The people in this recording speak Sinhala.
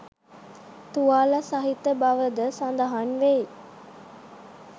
තුවාල සහිත බව ද සඳහන් වෙයි